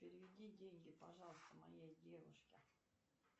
переведи деньги пожалуйста моей девушке